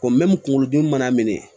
kunkolo dimi mana minɛ